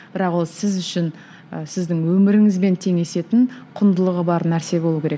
бірақ ол сіз үшін ы сіздің өміріңізбен теңесетін құндылығы бар нәрсе болуы керек